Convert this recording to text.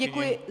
Děkuji.